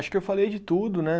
Acho que eu falei de tudo, né?